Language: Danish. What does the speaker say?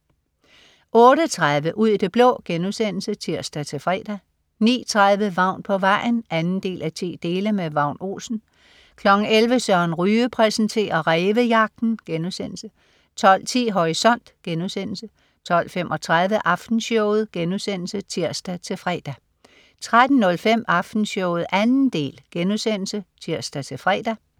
08.30 Ud i det blå* (tirs-fre) 09.30 Vagn på vejen 2:10. Vagn Olsen 11.00 Søren Ryge præsenterer. Rævejagten* 12.10 Horisont* 12.35 Aftenshowet* (tirs-fre) 13.05 Aftenshowet 2. del* (tirs-fre)